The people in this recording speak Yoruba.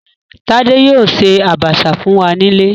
Tádé yóò ṣe Àbàṣà fún wa nílé